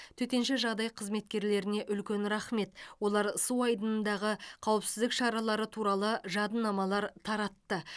төтенше жағдай қызметкерлеріне үлкен рахмет олар су айдынындағы қауіпсіздік шаралары туралы жадынамалар таратты